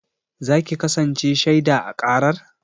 Za ki kasance shaiɗa a ƙarar?